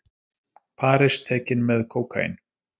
Paris tekin með kókaín